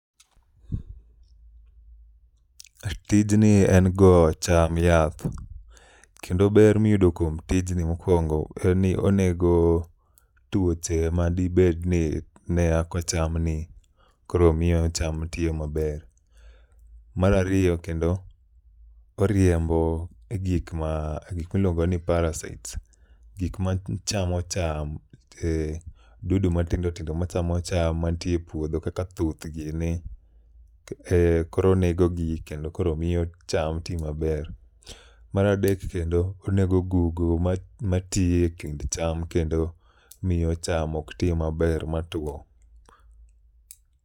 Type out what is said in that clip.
Tijni en go cham yath kendo ber miyudo kuom tijni mokwongo en ni onego tuoche madibedni ne yako chamni koro miyo cham tiyo maber. Mar ariyo kendo, oriembo gik miluongo ni parasites, gikma chamo cham, dudu matindo tindo machamo cham mantie e puodho kaka thuth gini koro onegogi kendo koro miyo cham ti maber. Mar adek kendo onego gugu mati e kind cham kendo miyo cham ok ti maber matwo.